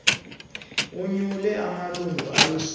onyule amalunga alishumi